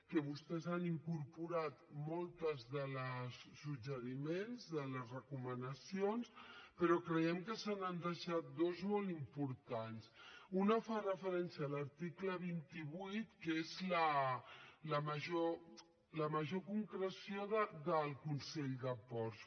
que vostès han incorporat molts dels suggeriments de les recomanacions però creiem que se n’han deixat dues de molt importants una fa referència a l’article vint vuit que és la major concreció del consell de ports